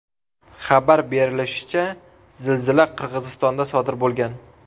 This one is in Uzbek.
Xabar berilishicha, zilzila Qirg‘izistonda sodir bo‘lgan.